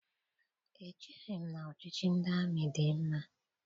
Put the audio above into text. Echeghị m na ọchịchị ndị amị dị mma.